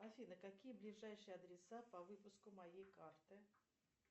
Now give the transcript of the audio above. афина какие ближайшие адреса по выпуску моей карты